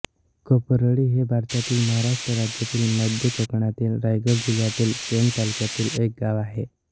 कोपरोळी हे भारतातील महाराष्ट्र राज्यातील मध्य कोकणातील रायगड जिल्ह्यातील पेण तालुक्यातील एक गाव आहे